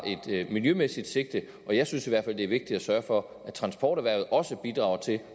et miljømæssigt sigte og jeg synes i hvert fald det er vigtigt at sørge for at transporterhvervet også bidrager til